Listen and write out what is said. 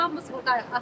Hamımız burdayıq.